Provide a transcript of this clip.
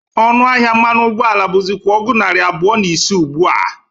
Ọnụ ahịa mmanụ ụgbọ ala bụzịkwa ọgụ narị abụọ na ise ugbụ a.